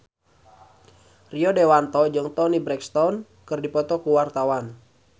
Rio Dewanto jeung Toni Brexton keur dipoto ku wartawan